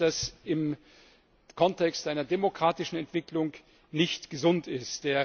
Ich meine, dass das im Kontext einer demokratischen Entwicklung nicht gesund ist.